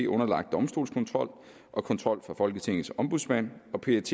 underlagt domstolskontrol og kontrol fra folketingets ombudsmand og pet